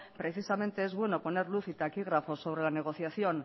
precisamente es bueno poner luz y taquígrafo sobre la negociación